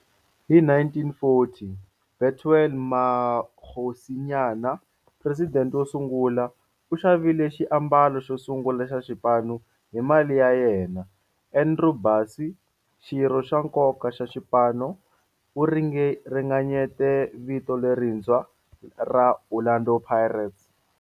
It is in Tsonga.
Hi 1940, Bethuel Mokgosinyane, president wo sungula, u xavile xiambalo xo sungula xa xipano hi mali ya yena. Andrew Bassie, xirho xa nkoka xa xipano, u ringanyete vito lerintshwa ra 'Orlando Pirates'.